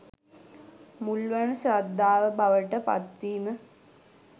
මුල් වන ශ්‍රද්ධාව බවට පත්වීම